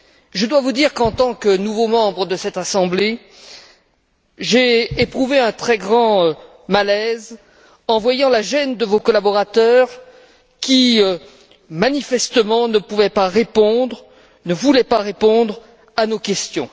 Je dois vous dire qu'en tant que nouveau membre de cette Assemblée, j'ai éprouvé un très grand malaise en voyant la gêne de vos collaborateurs qui, manifestement, ne pouvaient pas répondre, ne voulaient pas répondre à nos questions.